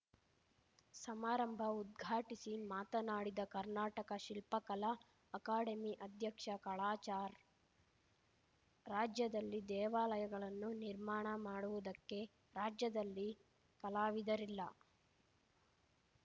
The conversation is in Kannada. ಸಮಾರಂಭ ಉದ್ಘಾಟಿಸಿ ಮಾತನಾಡಿದ ಕರ್ನಾಟಕ ಶಿಲ್ಪಕಲಾ ಅಕಾಡೆಮಿ ಅಧ್ಯಕ್ಷ ಕಾಳಾಚಾರ್‌ರಾಜ್ಯದಲ್ಲಿ ದೇವಾಲಯಗಳನ್ನು ನಿರ್ಮಾಣ ಮಾಡುವುದಕ್ಕೆ ರಾಜ್ಯದಲ್ಲಿ ಕಲಾವಿದರಿಲ್ಲ